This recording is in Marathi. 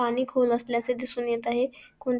पाणी खोल असल्याचे दिसून येत आहे कोण --